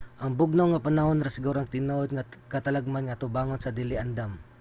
ang bugnaw nga panahon ra siguro ang tinuod nga katalagman nga atubangon sa dili andam